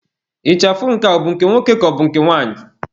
Ịchafụ nke ọ bụ nke nwoke ka ọ bụ nke nwanyị?